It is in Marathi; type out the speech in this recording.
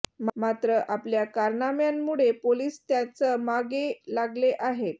मात्र आपल्या कारनाम्यांमुळे पोलीस त्यांच मागे लागले आहेत